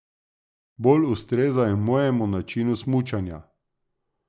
Bolj ustrezajo mojemu načinu smučanja.